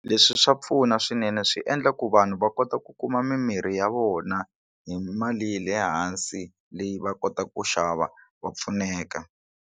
Leswi swa pfuna swinene swi endla ku vanhu va kota ku kuma mimirhi ya vona hi mali ya le hansi leyi va kotaka ku xava va pfuneka.